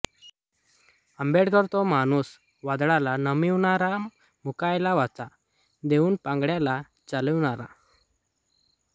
आंबेडकर तो माणूस वादळाला नमविणारा मूकयाला वाचा देऊन पांगळ्याला चालविणारा